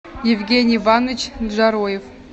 евгений иванович джароев